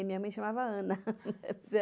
Minha mãe chamava Ana.